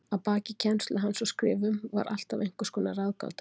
Að baki kennslu hans og skrifum var alltaf einhvers konar ráðgáta.